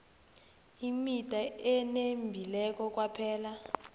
imida enembileko kwaphela